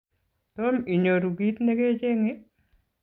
Tom inyoru kit ne kecheng'e?